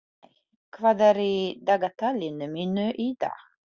Líney, hvað er í dagatalinu mínu í dag?